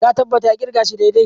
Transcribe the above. Ka tabbata ya kirga shi daidai?